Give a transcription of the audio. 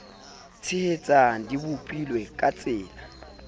tshehetsang di bopilwe ka tsela